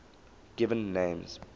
given names